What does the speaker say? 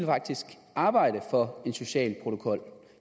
arbejde for en social protokol